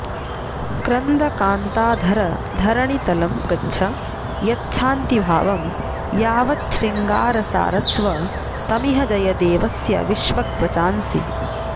क्रन्द कान्ताधर धरणितलं गच्छ यच्छान्तिभावं यावच्छृङ्गारसारस्वतमिह जयदेवस्य विष्वग्वचांसि